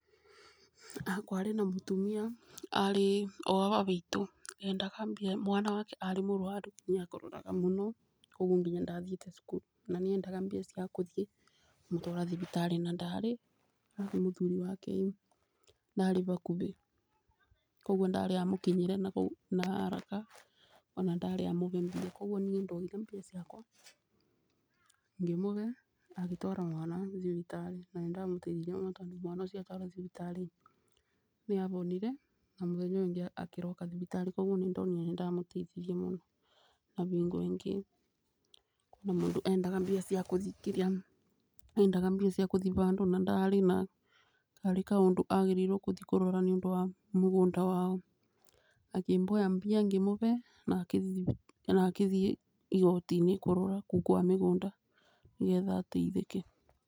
Kwarĩ na mũtumia arĩ o aba ba itũ endaga mbia, mwana wake arĩ mũrwaru nĩ akororaga mũno koguo nginya ndathiĩte cukuru. Na nĩ endaga mbia ciakũthiĩ kũmũtwara thibitarĩ na ndarĩ arabu mũthuri wake ĩ ndarĩ bakubĩ, koguo ndarĩ amũkinyĩre na haraka ona ndarĩ amũgerie. Koguo niĩ ndoire mbia ciakwa ngĩmũbe agĩtwara mwana thibitarĩ, na nĩ ndamũteithirie mũno, tondũ mwana ũcio atwarwo thibitarĩ nĩ abonire na mũthenya ũyũ ũngĩ akĩroka thibitarĩ, koguo nĩ ndonire nĩ ndamũteithirie muno. Na bingo ĩngĩ kwĩ na mũndũ endaga mbia ciakũthikithia endaga mbia ciakũthiĩ bandũ na ndarĩ na karĩ kaũndũ agĩrĩirwo kũthi kũrora nĩ ũndũ wa mũgũnda wao, akĩboya mbia ngĩmũbe na akĩthiĩ igoti-inĩ kũrora kũu kwa mĩgũnda nĩgetha ateithĩke.